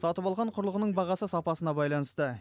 сатып алған құрылғының бағасы сапасына байланысты